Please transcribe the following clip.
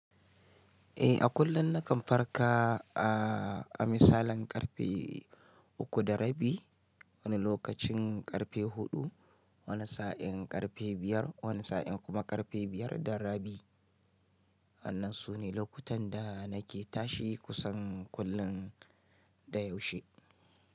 Eh, a kullum nakan farka ah, a misalin ƙarfe uku da rabi, wani lokacin ƙarfe huɗu, wani sa'in ƙarfe biyar, wani sa'in kuma ƙarfe biyar da rabi. Wannan su ne lokutan da nake tashi kusan kullum da yaushe.